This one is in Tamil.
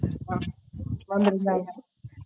ஆஹ் வந்துருந்தாங்க